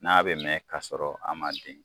N'a bɛ mɛɛn ka sɔrɔ a ma den.